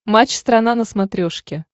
матч страна на смотрешке